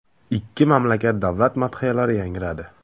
Ikki mamlakat davlat madhiyalari yangradi.